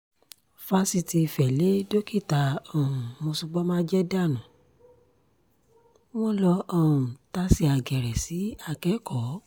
fásitì ìfẹ́ lé dókítà um mòsobọ́májẹ́ dànù wọ́n lọ um tàsé àgèrè sí akẹ́kọ̀ọ́